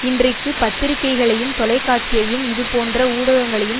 இன்றைக்கு பத்திரிகைகளையும் தொலைக்காட்சியையும் இதுபோன்ற ஊடகங்களையும்